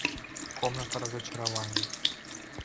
комната разочарований